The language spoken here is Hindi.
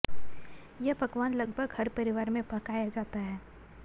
यह पकवान लगभग हर परिवार में पकाया जाता है